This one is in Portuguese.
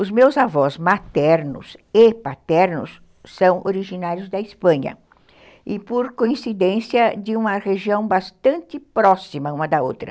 Os meus avós maternos e paternos são originários da Espanha e por coincidência de uma região bastante próxima uma da outra.